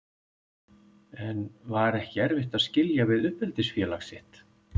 En var ekki erfitt að skilja við uppeldisfélag sitt?